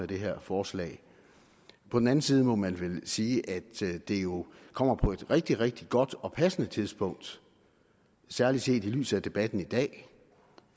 det her forslag på den anden side må man vel sige at det jo kommer på et rigtig rigtig godt og passende tidspunkt særlig set i lyset af debatten i dag